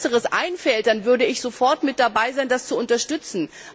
Wenn uns etwas Besseres einfällt, würde ich sofort mit dabei sein, das zu unterstützen.